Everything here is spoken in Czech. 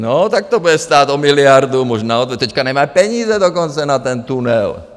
No, tak to bude stát o miliardu... možná teď nemá peníze dokonce na ten tunel.